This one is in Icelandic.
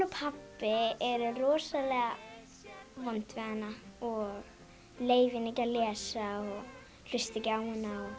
og pabbi eru rosalega vond við hana og leyfa henni ekki að lesa og hlusta ekki á hana